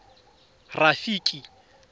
rafiki